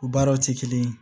U baaraw tɛ kelen ye